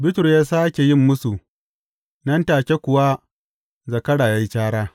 Bitrus ya sāke yin mūsu, nan take kuwa zakara ya yi cara.